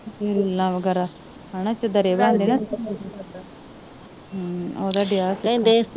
ਗਰੀਲਾਂ ਵਗੈਰਾ ਹਣਾ ਤੰਦਰੇ ਬਣਦੇ ਨਾ ਹੂੰ ਓਹਦਾ ਦੇਹਾ ਸਿੱਖਣ